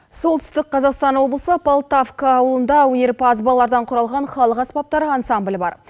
солтүстік қазақстан облысы полтавка ауылында өнерпаз балалардан құралған халық аспаптар ансамбілі бар